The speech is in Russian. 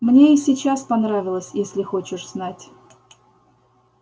мне и сейчас понравилось если хочешь знать